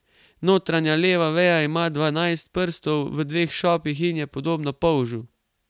Notranja leva veja ima dvanajst prstov v dveh šopih in je podobna polžu.